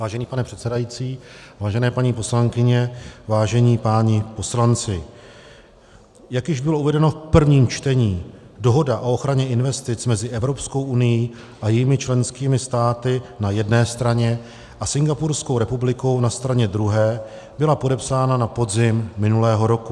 Vážený pane předsedající, vážení paní poslankyně, vážení páni poslanci, jak již bylo uvedeno v prvním čtení, Dohoda o ochraně investic mezi Evropskou unií a jejími členskými státy na jedné straně a Singapurskou republikou na straně druhé byla podepsána na podzim minulého roku.